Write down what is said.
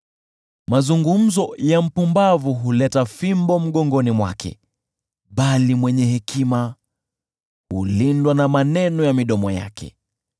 Mazungumzo ya mpumbavu huleta fimbo mgongoni mwake, bali mwenye hekima hulindwa na maneno ya midomo yake.